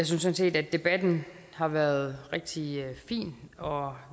sådan set at debatten har været rigtig fin og